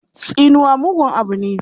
Tsinuwa mugun abu ne.